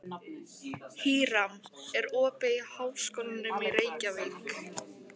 Híram, er opið í Háskólanum í Reykjavík?